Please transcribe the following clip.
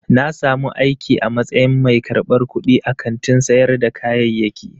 Na samu aiki a matsayin mai karɓar kuɗi a kantin sayar da kayayyaki.